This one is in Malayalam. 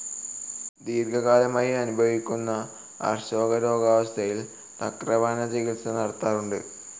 ദീർഘകാലമായി അനുഭവിക്കുന്ന അർശോരോഗാവസ്ഥയിൽ തക്രപാന ചികിത്സ നടത്താറുണ്ട്.